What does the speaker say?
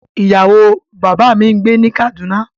Iyawo baba mi n gbe ni Kaduna